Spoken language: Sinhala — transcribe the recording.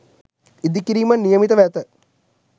ඉදිකිරීමට නියමිතව ඇත.